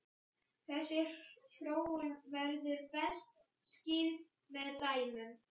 Þessi þróun verður best skýrð með dæmum.